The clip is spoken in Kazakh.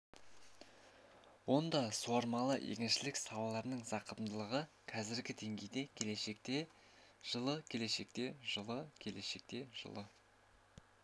онда суармалы егіншілік салаларының зақымдылығы қазіргі деңгейде келешекте жылы келешекте жылы келешекте жылы